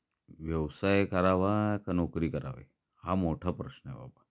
व्यवसाय करावा का नोकरी करावी? हा मोठा प्रश्न आहे बाबा.